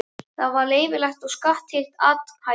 Það var leyfilegt og skattskylt athæfi.